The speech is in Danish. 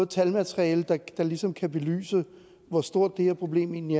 talmateriale der ligesom kan belyse hvor stort det her problem egentlig